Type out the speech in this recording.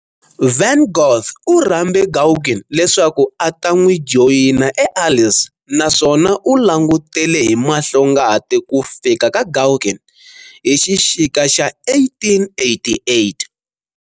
Van Gogh u rhambe Gauguin leswaku a ta n'wi joyina eArles naswona u langutele hi mahlongati ku fika ka Gauguin hi xixika xa 1888.